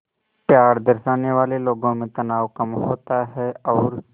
प्यार दर्शाने वाले लोगों में तनाव कम होता है और